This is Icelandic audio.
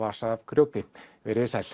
vasa af grjóti veriði sæl